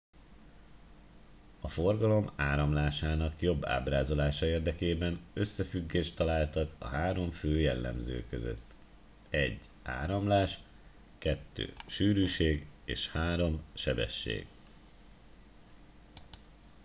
a forgalom áramlásának jobb ábrázolása érdekében összefüggést találtak a három fő jellemző között: 1 áramlás 2 sűrűség és 3 sebesség